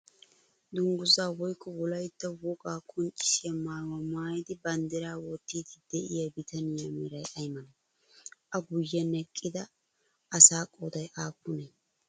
Dungguzzaa woyikko wolayitta wogaa qonccissiya mayyuwa mayyidi banddiraa wottiiddi diya bitaniya meray ayi malee? A guyyen eqqida asaa qooday aappunee?